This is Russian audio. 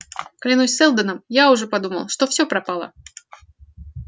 клянусь сэлдоном я уже подумал что все пропало